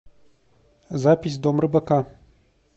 запись дом рыбака